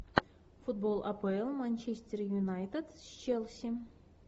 футбол апл манчестер юнайтед с челси